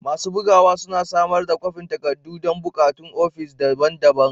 Masu bugawa suna samar da kwafin takardu don buƙatun ofis daban-daban.